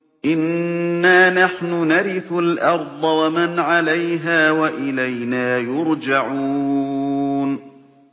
إِنَّا نَحْنُ نَرِثُ الْأَرْضَ وَمَنْ عَلَيْهَا وَإِلَيْنَا يُرْجَعُونَ